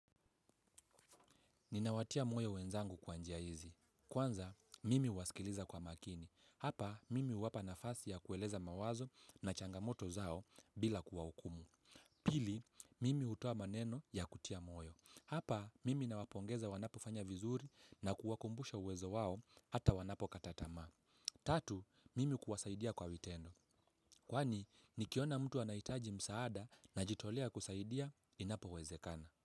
Ninawatia moyo wenzangu kwa njia hizi. Kwanza, mimi huwasikiliza kwa makini. Hapa, mimi huwapa nafasi ya kueleza mawazo na changamoto zao, bila kuwa hukumu. Pili, mimi hutoa maneno ya kutia moyo. Hapa, mimi nawapongeza wanapo fanya vizuri na kuwakumbusha uwezo wao hata wanapokata tamaa. Tatu, mimi kuwasaidia kwa vitendo. Kwani, nikiona mtu anahitaji msaada najitolea kusaidia inapowezekana.